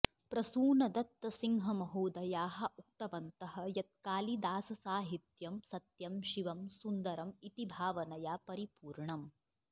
प्रसूनदत्तसिंहमहोदयाः उक्तवन्तः यत् कालिदाससाहित्यं सत्यं शिवं सुन्दरम् इति भावनया परिपूर्णम्